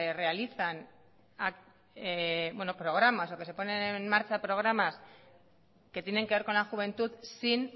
realizan programas o que se ponen en marcha programas que tienen que ver con la juventud sin